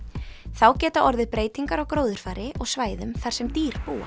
þá geta orðið breytingar á gróðurfari og svæðum þar sem dýr búa